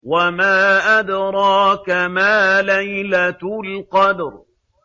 وَمَا أَدْرَاكَ مَا لَيْلَةُ الْقَدْرِ